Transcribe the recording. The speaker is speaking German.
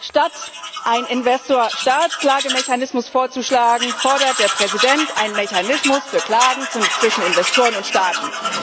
Statt einen Investor Staat Klagemechanismus vorzuschlagen, fordert der Präsident einen Mechanismus für Klagen zwischen Investoren und Staaten.